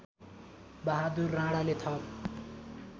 बहादुर राणाले थप